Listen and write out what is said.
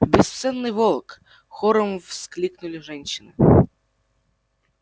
бесценный волк хором воскликнули женщины